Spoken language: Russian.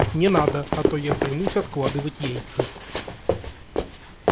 не надо а то я примусь откладывать яйца